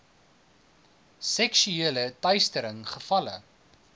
seksuele teistering gevalle